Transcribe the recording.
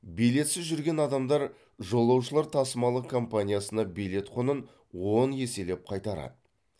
билетсіз жүрген адамдар жолаушылар тасымалы компаниясына билет құнын он еселеп қайтарады